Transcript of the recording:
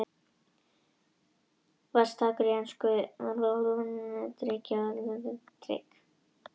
Var slakur í ensku en það hefur ekki dregið dilk á eftir sér.